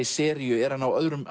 seríu er hann á öðrum